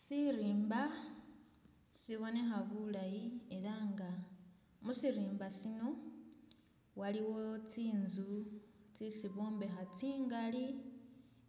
Sirimba sibonekha bulayi ela nga musirimba sino waliwo tsinzu tsisi bombekha tsingali